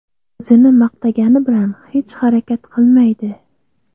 O‘zini maqtagani bilan hech harakat qilmaydi.